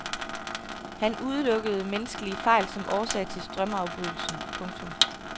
Han udelukkede menneskelige fejl som årsag til strømafbrydelsen. punktum